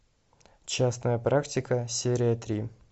частная практика серия три